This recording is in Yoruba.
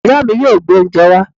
Ìya mi yóò gbé oúnjẹ wá